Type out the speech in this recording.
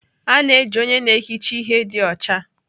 A na-eji onye na-ehicha ihe dị ọcha